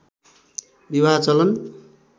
विवाह चलन